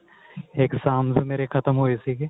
exams ਮੇਰੇ ਖਤਮ ਹੋਏ ਸੀਗੇ